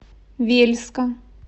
вельска